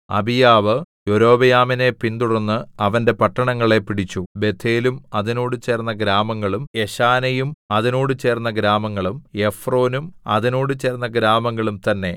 അബീയാവ് യൊരോബെയാമിനെ പിന്തുടർന്ന് അവന്റെ പട്ടണങ്ങളെ പിടിച്ചു ബേഥേലും അതിനോട് ചേർന്ന ഗ്രാമങ്ങളും യെശാനയും അതിനോട് ചേർന്ന ഗ്രാമങ്ങളും എഫ്രോനും അതിനോട് ചേർന്ന ഗ്രാമങ്ങളും തന്നേ